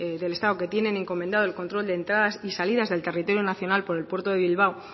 del estado que tienen encomendado en el control de entradas y salidas del territorio nacional por el puerto de bilbao